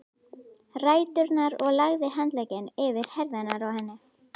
ræturnar og lagði handlegginn yfir herðarnar á henni.